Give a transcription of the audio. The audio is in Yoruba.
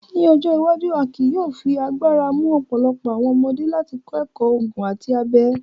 Ni ojo iwaju, a ki yóò fi agbara mu ọpọlọpọ awọn ọmọde lati kọ ẹkọ oogun ati abẹ